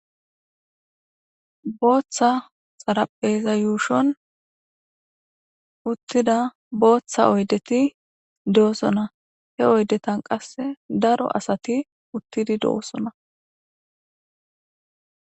Bootta xariphpheza yuushshon uttida bootta oyddeti doosona. He oyddetan qassi daro asati uttidi doosona.